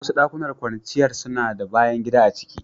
Wasu dakunan kwanciyar suna da bayan gida a ciki.